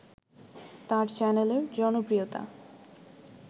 তার চ্যানেলের জনপ্রিয়তা